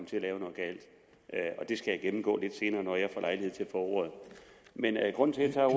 til at lave noget galt og det skal jeg gennemgå lidt senere når jeg får lejlighed til at ordet men grunden til at